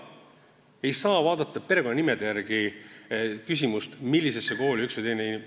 Ei saa vaadata perekonnanimede järgi seda, millisesse kooli üks või teine ...